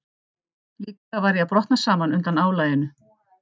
Líklega var ég að brotna saman undan álaginu.